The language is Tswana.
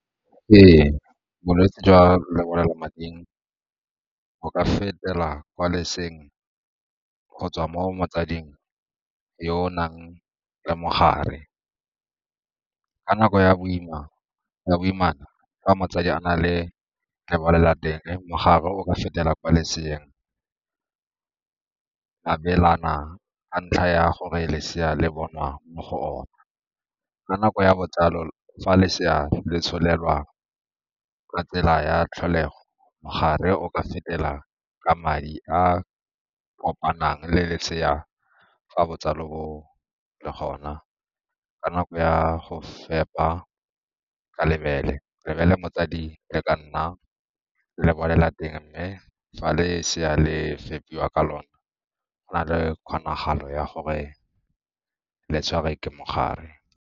Ee, bolwetse jwa lebolelamading bo ka fetela kwa leseeng go tswa mo motsading yo o nang le mogare. Ka nako ya boimana, fa motsadi a na le lebolelateng mogare o ka fetela kwa loseeng, abelana ka ntlha ya gore lesea le bonwa mo go ona. Ka nako ya botsalo fa lesea le tsholelwa ka tsela ya tlholego mogare o fetela ke madi a kopanang le lesea fa botsalo bo le gona ka nako ya go fepa ka lebele, lebele motsadi le ka nna lebolelateng mme fa lesea le fepiwa ka lona go na le kgonagalo ya gore le tshwarwe ke mogare.